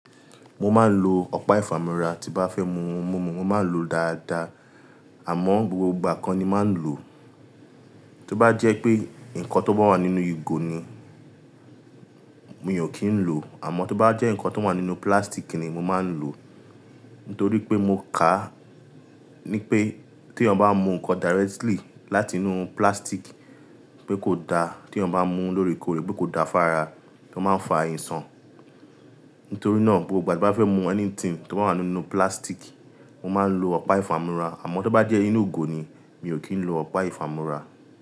Mo máa ń lo ọ̀pá ìfàmúra tí bá fẹ́ mu ohun mímu, mo máa ń lo ó dáadáa, àmọ́ gbogbo ìgbà ko ni mo mà ń lo. Tí ó bá jẹ́ pé nǹkan tó bá wà nínú ìgò ni, mi ò kì í lòó, àmọ́ tí ó bá jẹ́ ǹnkan tó wà nínú pílásítìkì ni, mo máa ń lòó. Nítorí pé mo kàá ní pé tí ẹyan bá mú ǹnkan directly láti inú pílásítìkì pé kò da, tí ẹni bá mú lóòrèkóòrè, pé kò da fára, tí ó máa ń fa àìsàn. Nítorí náà gbogbo ìgbà tí bá fẹ́ mu anything tó bá wà nínú pílásítìkì, mo máa ń lo ọ̀pá ìfàmúra, àmọ́ tí ó bá jẹ́ inú ìgò ni, mi ò kí ń lo ọ̀pá ìfàmúra.